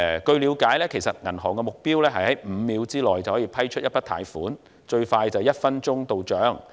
據了解，銀行的目標是在5秒內批出一筆貸款，最快在1分鐘內到帳。